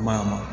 Kuma ma